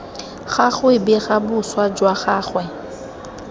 gagwe bega boswa jwa gagwe